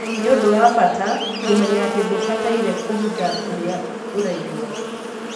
Nĩ ũndũ wa bata kũmenya atĩ ndũbataire kũhitha ũrĩa ũraigua.